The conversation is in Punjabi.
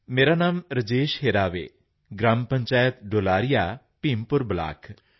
ਮੇਰਾ ਨਾਮ ਰਾਜੇਸ਼ ਹਿਰਾਵੇ ਗ੍ਰਾਮ ਪੰਚਾਇਤ ਡੁਲਾਰੀਆ ਭੀਮਪੁਰ ਬਲਾਕ